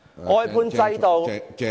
外判制度......